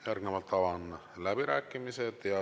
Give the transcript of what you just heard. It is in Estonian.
Järgnevalt avan läbirääkimised.